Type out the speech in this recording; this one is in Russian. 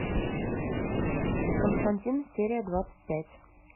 константин серия двадцать пять